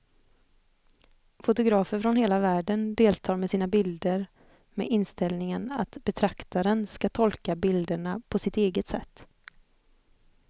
Fotografer från hela världen deltar med sina bilder med inställningen att betraktaren ska tolka bilderna på sitt eget sätt.